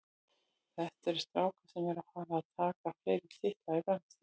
Þetta eru strákar sem eru að fara að taka fleiri titla í framtíðinni.